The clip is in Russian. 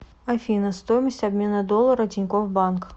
афина стоимость обмена доллара тинькофф банк